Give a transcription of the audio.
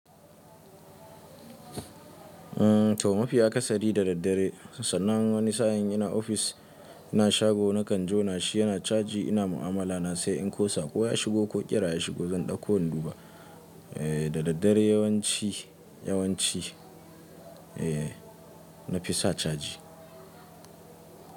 Umm to mafiya akasari da daddare, sannan wani sa'in ina ofis, ina shago nakan jona shi yana caji ina mu'amala na sai in kosa ko ya shigo ko ƙira ya shigo zan ɗauko in duba. Eh da daddare yawanci, yawanci eh nafi sa caji.